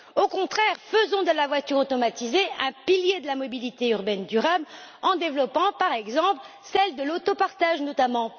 Au contraire, faisons de la voiture automatisée un pilier de la mobilité urbaine durable en développant, par exemple, celle de l'autopartage, notamment.